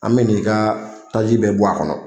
An bɛ n'i ka taji bɛ bɔ a kɔnɔ.